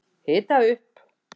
Hita upp